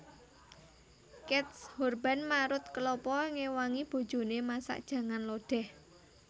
Keith Urban marut kelapa ngewangi bojone masak jangan lodeh